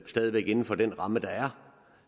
stadig væk inden for den ramme der er